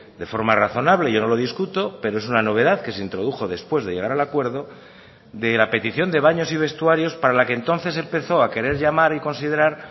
de forma razonable yo no lo discuto pero es una novedad que se introdujo después de llegar al acuerdo de la petición de baños y vestuarios para la que entonces empezó a querer llamar y considerar